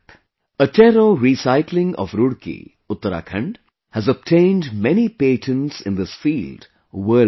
Attero Recycling of Roorkee, Uttarakhand has obtained many patents in this field worldwide